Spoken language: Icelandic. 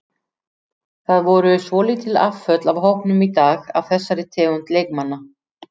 Það voru svolítil afföll af hópnum í dag af þessari tegund leikmanna.